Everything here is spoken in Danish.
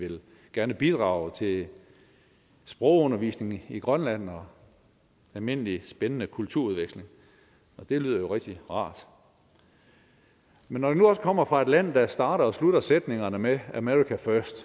gerne vil bidrage til sprogundervisningen i grønland og almindelig spændende kulturudveksling og det lyder jo rigtig rart men når det nu også kommer fra et land der starter og slutter sætningerne med america first